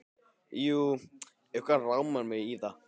Jú, eitthvað rámar mig í það.